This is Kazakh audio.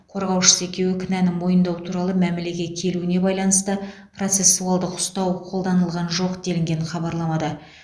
қорғаушысы екеуі кінәні мойындау туралы мәмілеге келуіне байланысты процессуалдық ұстау қолданылған жоқ делінген хабарламада